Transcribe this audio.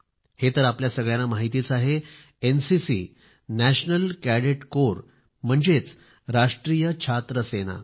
हे तर आपल्या सगळ्यांना माहितीच आहे एनसीसी नॅशनल कॅडेट कोर म्हणजेच राष्ट्रीय छात्र सेना